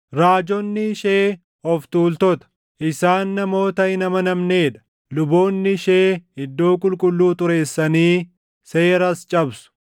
Raajonni ishee of tuultota; isaan namoota hin amanamnee dha. Luboonni ishee iddoo qulqulluu xureessanii seeras cabsu.